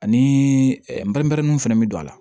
Ani bɛrɛmɛrɛninw fɛnɛ bɛ don a la